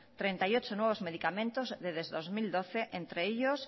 treinta y ocho nuevos medicamentos desde el dos mil doce entre ellos